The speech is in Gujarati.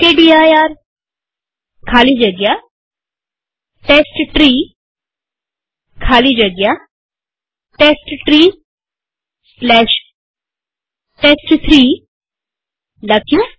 મકદીર ખાલી જગ્યા ટેસ્ટટ્રી ખાલી જગ્યા testtreeટેસ્ટ3 લખીએ